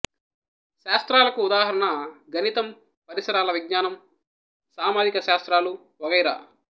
శాస్త్రాలకు ఉదాహరణ గణితం పరిసరాల విజ్ఞానం సామాజిక శాస్త్రాలు వగైరా